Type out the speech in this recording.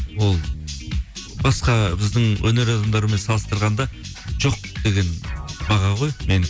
ол басқа біздің өнер адамдарымен салыстырғанда жоқ деген баға ғой мен